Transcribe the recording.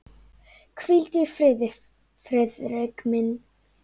Hvíldu í friði, Friðrik minn.